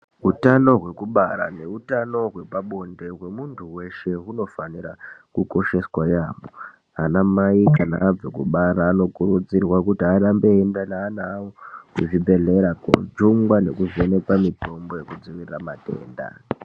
Utano hwekubara neutano hwepabonde hwemunthu wese hunofanira kukosheswa yaampho. Ana mai kana abva kubara anokurudzirwa, kuti arambe eienda neana awo kuzvibhedhlera, koojungwa nekuvhenekwa mitombo yekudzivirira matenda.